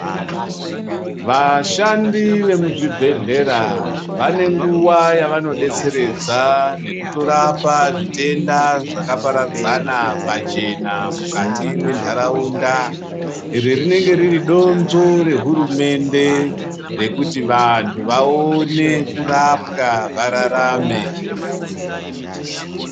Vashandi vemuzvibhedhlera vane nguwa yavanodetseredza nekutorapa zvitenda zvakaparadzana pachena mukati mwentaraunda, iri rinenge riri donzvo rehurumende rekuti vanthu vaone kurapwa vararame.